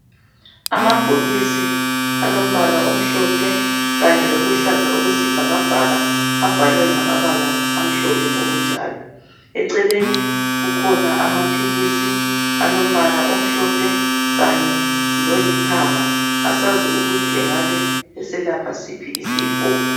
Amabhokisi alombala omhlophe kanye loluhlaza okwesibhakabhaka abhalwe ngamabala amhlophe njalo eceleni kukhona amaphilisi alombala omhlophe lolithanga asazi ukuthi engabe eselapha siphi isifo.